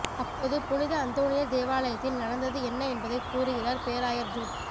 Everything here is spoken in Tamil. அப்போது புனித அந்தோணியர் தேவாலயத்தில் நடந்தது என்ன என்பதை கூறுகிறார் பேராயர் ஜூட்